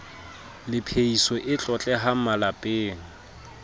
le phehiso e tlotlehang malepeng